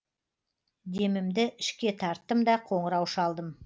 демімді ішке тарттым да қоңырау шалдым